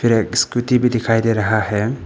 एक स्कूटी भी दिखाई दे रहा है।